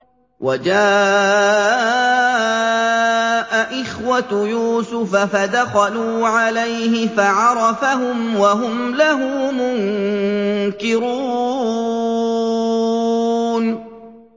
وَجَاءَ إِخْوَةُ يُوسُفَ فَدَخَلُوا عَلَيْهِ فَعَرَفَهُمْ وَهُمْ لَهُ مُنكِرُونَ